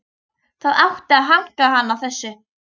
Það átti að hanka hann á þessu.